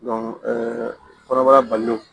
kɔnɔbara bali